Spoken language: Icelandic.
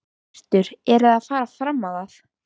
Hjörtur: En eruð þið að fara fram á það?